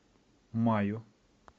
маю